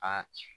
Aa